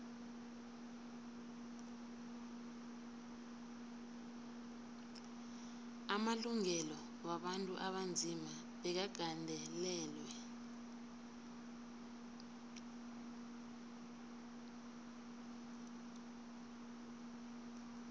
amalungelo wabantu abanzima bekagandelelwe